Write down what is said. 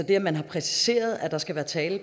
at man har præciseret at der skal være tale